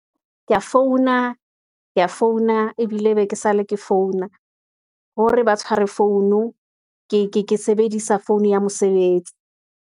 Kea founa, ebile e be ke sale ke founa hore ba tshware founu, ke sebedisa phone ya mosebetsi.